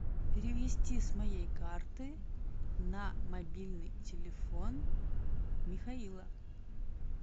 перевести с моей карты на мобильный телефон михаила